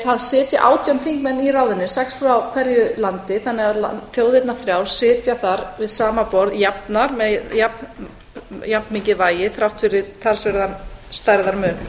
það sitja átján þingmenn í ráðinu sex frá hverju landi þannig að þjóðirnar þrjár sitja þar við sama borð jafnar með jafnmikið vægi þrátt fyrir talsverðan stærðarmun